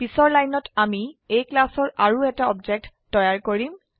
পিছৰ লাইনত আমি A ক্লাসৰ আৰু এটা অবজেক্ট তৈয়াৰ কৰোম